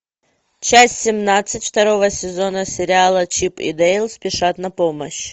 часть семнадцать второго сезона сериала чип и дейл спешат на помощь